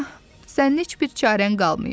Sənin heç bir çarən qalmayıb.